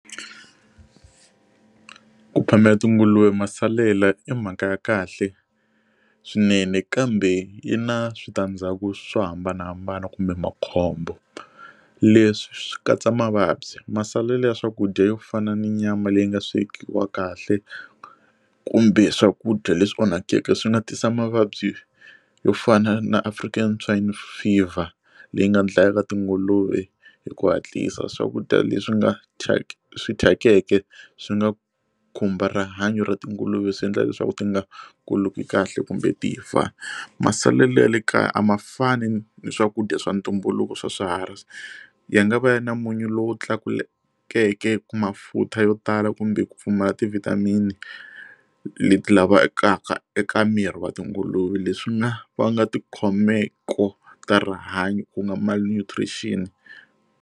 Ku phamela tinguluve masalela i mhaka ya kahle swinene kambe yi na switandzhaku swo hambanahambana kumbe makhombo leswi swi katsa mavabyi masalela ya swakudya yo fana ni nyama leyi nga swekiwa kahle kumbe swakudya leswi onhakeke swi nga tisa mavabyi yo fana na African Swine Fever leyi nga dlayaka tinguluve hi ku hatlisa swakudya leswi nga ta swi thyakeke swi nga khumba rihanyo ra tinguluve swi endla leswaku ti nga kuli kahle kumbe ti fa masalela ya le kaya a ma fani ni ni swakudya swa ntumbuluko swa swiharhi swi ya nga va ya na munyu lowu tlakulekeke ku mafutha yo tala kumbe ku pfumala ti vitamin leti lavekaka eka miri wa tinguluve leswi nga vanga ti khomeko ta rihanyo ku nga malnutrition.